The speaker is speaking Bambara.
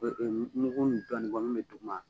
min bɛ duguma